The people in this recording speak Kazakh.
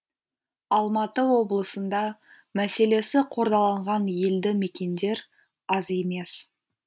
алматы облысында мәселесі қордаланған елді мекендер аз емес